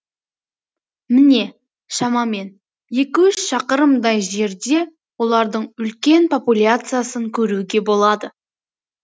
міне шамамен екі үш шақырымдай жерде олардың үлкен популяциясын көруге болады